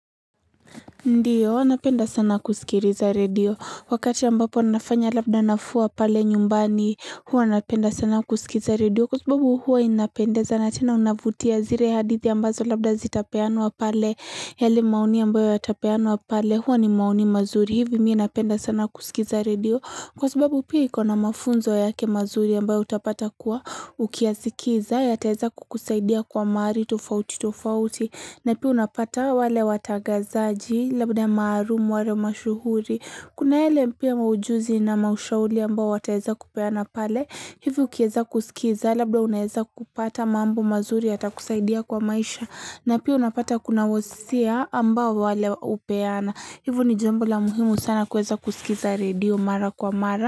Ndiyo, wanapenda sana kusikiliza radio. Wakati ambapo anafanya labda nafua pale nyumbani, huwa anapenda sana kusikiza radio. Kwa sababu huwa inapendeza, natena inavutia zire hadithi ambazo labda zitapeanwa pale. Yali maoni ambayo yatapeanwa pale, huwa ni maoni mazuri. Hivi miinapenda sana kusikiza radio. Kwa sababu pia ikona mafunzo yake mazuri ambayo utapata kuwa ukiasikiza, ya teza kukusaidia kwa mari tofauti tofauti, na pia unapata wale watagazaji, labda maharumuu, ware mashuhuri. Kuna ele mpia maujuzi na maushauli ambayo wataza kupeana pale, hivu ukieza kusikiza, labda unaeza kupata mambo mazuri ya yakusaidia kwa maisha, na pia unapata kuna wosia ambao wale upeana. Hivo ni jembo la muhimu sana kweza kusikiza radio mara kwa mara.